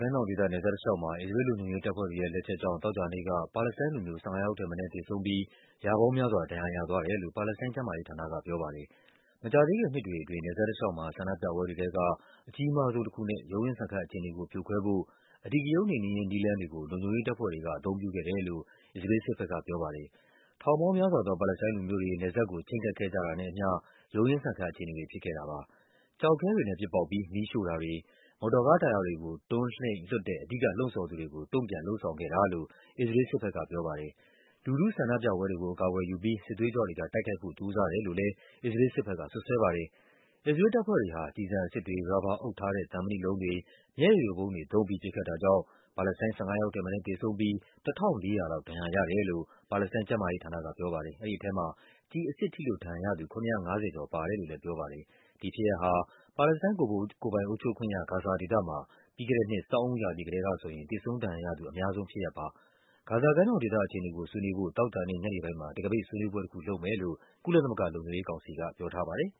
ကမ်းမြောင်ဒေသ နယ်စပ်တလျှောက်မှာ အစ္စရေးလ်လုံခြုံရေးတပ်ဖွဲ့တွေရဲ့ လက်ချက်ကြောင့် သောကြာနေ့က ပါလက်စတိုင်းလူမျိုး ၁၅ ယောက်ထက်မနည်း သေဆုံးပြီး ရာပေါင်းများစွာ ဒဏ်ရာရသွားတယ်လို့ ပါလက်စတိုင်း ကျန်းမာရေး ဌာနကပြောပါတယ်။ မကြာသေးခင်နှစ်အတွင်း နယ်စပ်တလျှောက်မှာ ဆန္ဒပြပွဲတွေထဲက အကြီးမားဆုံးတခုနဲ့ ရုန်းရင်းဆန်ခတ် အခြေအနေကို ဖြိုခွဲဖို့ အဓိကရုဏ်းနှိမ်နင်းရေး နည်းလမ်းတွေကို လုံခြုံရေးတပ်ဖွဲ့တွေက အသုံးပြုခဲ့တယ်လို့ အစ္စရေးလ်စစ်ဘက်က ပြောပါတယ်။ ထောင်ပေါင်းများစွာသော ပါလက်စတိုင်းလူမျိုးတွေ နယ်စပ်ကို ချဉ်းကပ်ခဲ့ကြတာနဲ့အမျှ ရုန်းရင်းဆန်ခတ် အခြေအနေတွေ ဖြစ်ခဲ့ တာပါ။ ကျောက်ခဲတွေနဲ့ပစ်ပေါက်ပြီး မီးရှို့ထားတဲ့ မော်တော်ကားတာယာတွေကို တွန်းလှိမ့်လွှတ်တဲ့ အဓိက လှုံ့ဆော်သူတွေကို တုန့်ပြန် လုပ်ဆောင်ခဲ့တာလို့ အစ္စရေးလ်စစ်ဘက်က ပြောပါတယ်။ လူထု ဆန္ဒပြပွဲတွေကို အကာအကွယ်ယူပြီး စစ်သွေးကြွတွေ က တိုက်ခိုက်ဖို့ ကြိုးစားတယ်လို့လည်း အစ္စရေးလ်စစ်ဘက်က စွပ်စွဲပါတယ်။ အစ္စရေးလ်တပ်ဖွဲ့တွေဟာ ကျည်ဆန်အစစ်တွေ၊ ရာဘာအုပ်ထားတဲ့ သံမဏိလုံးတွေ၊ မျက်ရည်ယိုဗုံးတွေသုံးပြီး ပစ်ခတ်တာ ကြောင့် ပါလက်စတိုင်း ၁၅ ယောက်ထက်မနည်းသေဆုံးပြီး ၁၄၀၀ လောက် ဒဏ်ရာရတယ်လို့ ပါလက်စတိုင်း ကျန်းမာရေးဌာန က ပြောပါတယ်။ အဲဒီထဲမှာ ကျည်အစစ်ထိလို့ ဒဏ်ရာရသူ ၇၅၀ ကျော် ပါတယ်လို့လည်းပြောပါတယ်။ ဒီဖြစ်ရပ်ဟာ ပါလက်စတိုင်း ကိုယ်ပိုင်အုပ်ချုပ်ခွင့်ရ ဂါဇာဒေသမှာ ပြီးခဲ့တဲ့နှစ် ဆောင်းဦးရာသီကတည်းကဆိုရင် သေဆုံး ဒဏ်ရာရသူ အများဆုံးဖြစ်ရပ်ပါ။ ဂါဇာကမ်းမြောင်ဒေသ အခြေအနေကို ဆွေးနွေးဖို့ သောကြာနေ့ညနေပိုင်းမှာ တံခါးပိတ်ဆွေးနွေးပွဲတခုလုပ်မယ်လို့ ကုလသမဂ္ဂ လုံခြုံရေးကောင်စီကပြောပါတယ်